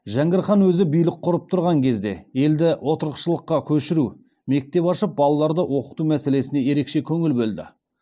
жәңгір хан өзі билік құрып тұрған кезде елді отырықшылыққа көшіру мектеп ашып балаларды оқыту мәселесіне ерекше көңіл бөлді